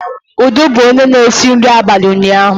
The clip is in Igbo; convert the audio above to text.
Udo bụ onye na-esi nri abalị ụnyaahụ